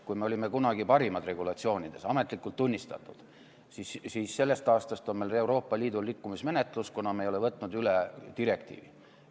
Kui me kunagi olime parimad regulatsioonide poolest, ametlikult tunnistatult, siis sellest aastast on meil Euroopa Liidu rikkumismenetlus, kuna me ei ole võtnud üle direktiivi.